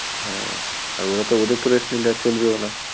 হ্যাঁ, আর ওরা তো ওদের তো rest নিলে চলবেও না।